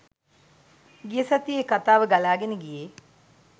ගිය සතියේ කතාව ගලාගෙන ගියේ.